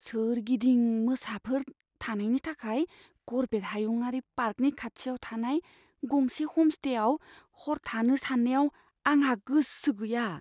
सोरगिदिं मोसाफोर थानायनि थाखाय कर्बेट हायुंआरि पार्कनि खाथियाव थानाय गंसे ह'मस्टेयाव हर थानो साननायाव आंहा गोसो गैया।